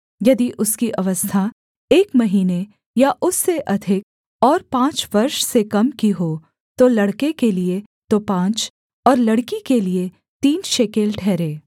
यदि उसकी अवस्था एक महीने या उससे अधिक और पाँच वर्ष से कम की हो तो लड़के के लिये तो पाँच और लड़की के लिये तीन शेकेल ठहरे